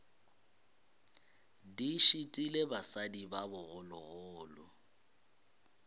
di šitile basadi ba bogologolo